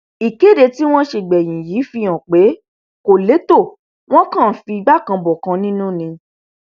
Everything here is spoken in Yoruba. ìkéde tí wọn ṣe gbẹyìn yìí fi hàn pé wọn kò lẹtọ wọn kàn ń figbá kan bọkan nínú ni